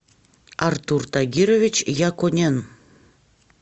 артур тагирович яконен